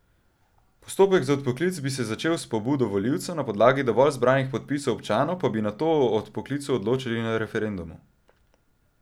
Postopek za odpoklic bi se začel s pobudo volivca, na podlagi dovolj zbranih podpisov občanov pa bi nato o odpoklicu odločali na referendumu.